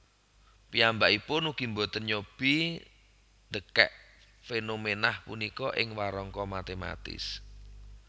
Piyambakipun ugi boten nyobi ndèkèk fénoménah punika ing warangka matématis